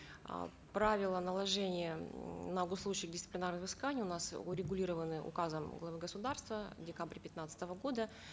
э правила наложения ммм на госслужащих дисциплинарных взысканий у нас урегулированы указом главы государства в декабре пятнадцатого года